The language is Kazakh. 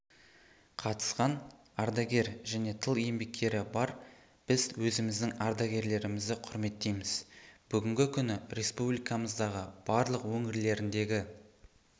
қатысқан ардагер және тыл еңбеккері бар біз өзіміздің ардагерлерімізді құрметтейміз бүгінгі күні республикамыздың барлық өңірлеріндегі